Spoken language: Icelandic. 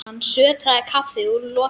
Hann sötraði kaffið úr lokinu.